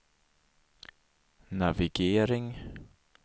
navigering